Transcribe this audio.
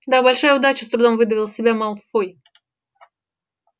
да большая удача с трудом выдавил из себя малфой